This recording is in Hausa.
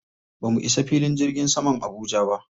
Ba mu isa filin jirgin saman Abuja ba.